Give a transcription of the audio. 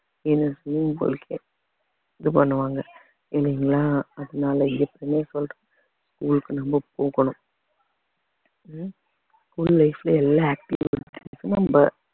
இது பண்ணுவாங்க இல்லைங்களா அதனால ஏற்கனவே சொல்றேன் school க்கு நம்ம போகணும் ஹம் school life ல எல்லா